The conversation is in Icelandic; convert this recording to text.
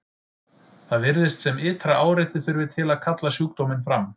Það virðist sem ytra áreiti þurfi til að kalla sjúkdóminn fram.